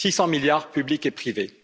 600 milliards publics et privés.